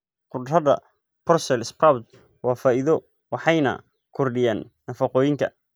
Khudradda Brussels sprouts waa faa'iido waxayna kordhiyaan nafaqooyinka.